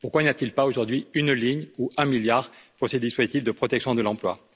Pourquoi n'y a t il pas, aujourd'hui, une ligne ou un milliard pour ces dispositifs de protection de l'emploi?